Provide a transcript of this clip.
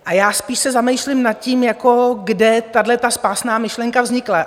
A já se spíš zamýšlím nad tím, kde tato spásná myšlenka vznikla?